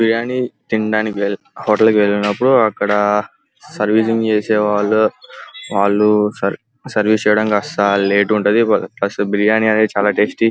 బిర్యానీ తినడానికి హోటల్ కి వెళ్ళినపుడు అక్కడ సర్వీసింగ్ చేసేవాళ్ళు వాళ్ళు సర్వీస్ చేయడం అనేది లేట్ ఉంటది బట్ బిర్యానీ అనేది చాల టేస్టి --